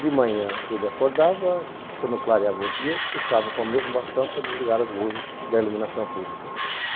De manhã, ele acordava, quando clareava o dia, ele puxava com o mesmo bastão para desligar as luzes da iluminação pública.